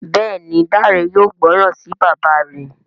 Béèni Dare yóò gbóròn sí bàbá rẹ.